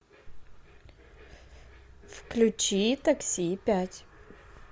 включи такси пять